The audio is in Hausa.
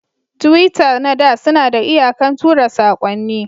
tiwita nada Sunada iyakan tura sakonni.